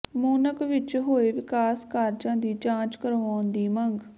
ਮੂਨਕ ਵਿੱਚ ਹੋਏ ਵਿਕਾਸ ਕਾਰਜਾਂ ਦੀ ਜਾਂਚ ਕਰਵਾਉਣ ਦੀ ਮੰਗ